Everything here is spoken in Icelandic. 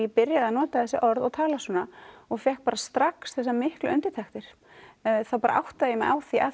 byrjaði að nota þessi orð og tala svona og fékk strax þessar miklu undirtektir þá áttaði ég mig á því að